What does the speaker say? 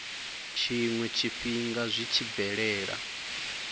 tshiwe tshifhinga zwi tshi bvelela